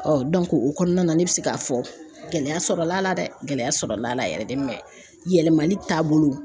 o kɔnɔna na ne bɛ se k'a fɔ gɛlɛya sɔrɔla la dɛ gɛlɛya sɔrɔla la yɛrɛ de yɛlɛmali taabolo